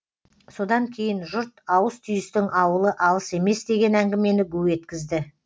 содан кейін жұрт ауыс түйістің ауылы алыс емес деген әңгімені гу еткізді